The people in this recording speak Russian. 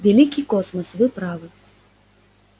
великий космос вы правы